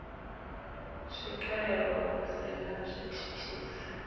swikelelwa hu si na zwithithisi